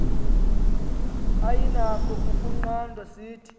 ayinakho ukunqandwa sithi